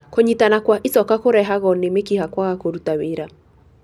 Kũnyitana kwa icoka kũrehago nĩ mĩkiha kwaga kũruta wĩra.